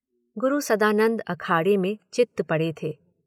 गुरु सदानंद अखाड़े में चित्त पड़े थे।